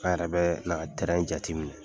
An yɛrɛ bɛ na jateminɛ